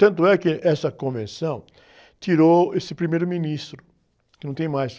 Tanto é que essa convenção tirou esse primeiro-ministro, que não tem mais.